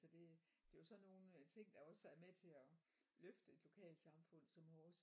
Så det det er jo sådan nogle ting der også er med til at løfte et lokalsamfund som vores